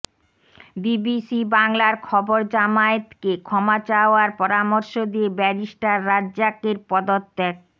BBC বাংলার খবরজামায়াতকে ক্ষমা চাওয়ার পরামর্শ দিয়ে ব্যারিস্টার রাজ্জাকের পদত্যাগ